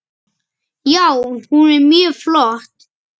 Já, hún er mjög flott.